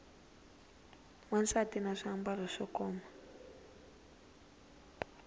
wansati na swiambalo swo koma